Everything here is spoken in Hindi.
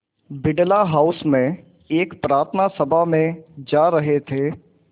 बिड़ला हाउस में एक प्रार्थना सभा में जा रहे थे